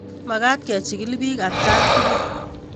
Makat kechikil piik atkaan tukul